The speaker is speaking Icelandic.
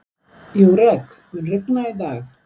Júrek, mun rigna í dag?